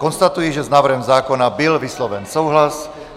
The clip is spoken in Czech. Konstatuji, že s návrhem zákona byl vysloven souhlas.